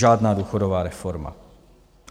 Žádná důchodová reforma.